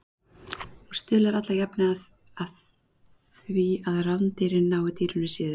Hún stuðlar allajafna að því að rándýrin nái dýrinu síður.